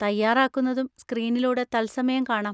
തയ്യാറാക്കുന്നതും സ്‌ക്രീനിലൂടെ തത്സമയം കാണാം.